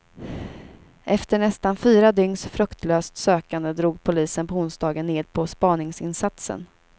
Efter nästan fyra dygns fruktlöst sökande drog polisen på onsdagen ned på spaningsinsatsen.